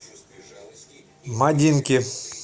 мадинки